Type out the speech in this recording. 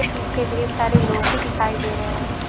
पीछे ढेर सारे लोग भी दिखाई दे रहे हैं।